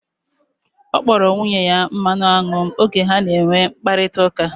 Ọ kpọrọ nwunye ya mmanụ anwụ m oge ha na enwe mkparịta ụka